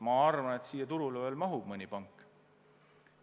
Ma arvan, et meie turule mahub veel mõni pank.